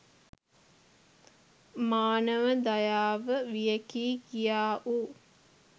මානව දයාව වියැකී ගියාවූ